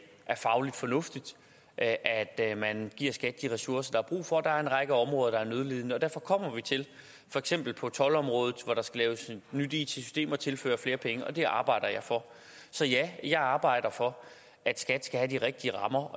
er fagligt fornuftigt at at man giver skat de ressourcer der er brug for der er en række områder der er nødlidende og derfor kommer vi til for eksempel på toldområdet hvor der skal laves nyt it system at tilføre flere penge og det arbejder jeg for så ja jeg arbejder for at skat skal have de rigtige rammer